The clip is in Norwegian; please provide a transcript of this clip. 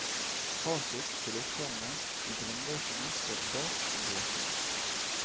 Fasit til oppgavene i grunnbøkene står bak i bøkene.